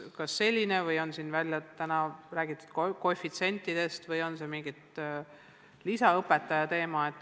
Täna on siin räägitud ka koefitsientidest ja lisaõpetajatest.